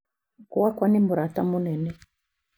"Gwakwa nĩ mũrata mũnene".